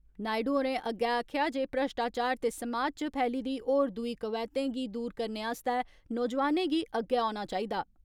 नायडु होरें अग्गै आक्खेआ जे भ्रष्टाचार ते समाज च फैली दी होर दूई कवैहतें गी दूर करने आस्तै नौजवानें गी अग्गै औना चाहिदा।